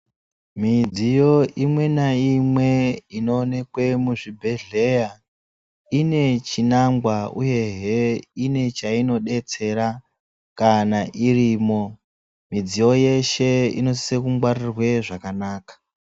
Midziyo imwe naimwe inoonekwa muzvibhedhleya ine chinangwa uyehe ine chainodetsera. Kana irimo midziyo yeshe inosise kungwarirwe zvakanaka.